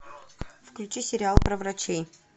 включи сериал про врачей